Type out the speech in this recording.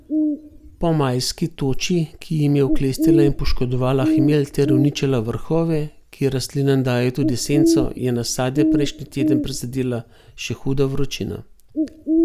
Po majski toči, ki jim je oklestila in poškodovala hmelj ter uničila vrhove, ki rastlinam dajejo tudi senco, je nasade prejšnji teden prizadela še huda vročina.